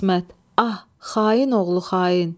İsmət, ah, xain oğlu xain.